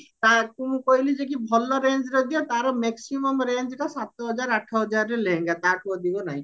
ତାକୁ ମୁଁ ଆଖିଲି ଯେକି ଭଲ rangeର ଦିଅ ତାର maximum range rangeଟା ତାର ସାତ ହଜାର ଆଠ ହଜାର ର ଲେହେଙ୍ଗା ତାଠୁ ଅଧିକ ନାହି